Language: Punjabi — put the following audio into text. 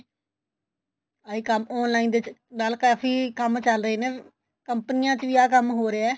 ਆਈ ਕੰਮ online ਦੇ ਨਾਲ ਕਾਫੀ ਕੰਮ ਚੱਲ ਰਹੇ ਨੇ ਕੰਪਨੀਆਂ ਚ ਵੀ ਆਹ ਕੰਮ ਹੋ ਰਿਹਾ